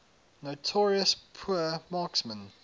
notorious poor marksmen